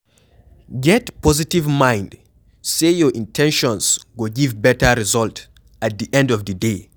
Get positive mind sey your in ten tions go give better result at di end of di day